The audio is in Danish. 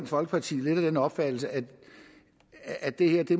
folkeparti lidt af den opfattelse at det her i